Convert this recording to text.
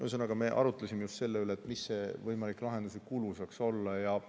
Ühesõnaga, me arutlesime just selle üle, mis selle võimaliku lahenduse kulu võiks olla.